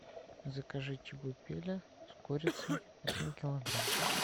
закажи чебупели с курицей один килограмм